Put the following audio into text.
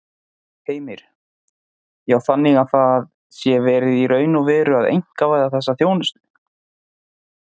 Heimir: Já, þannig að það sé verið í raun og veru að einkavæða þessa þjónustu?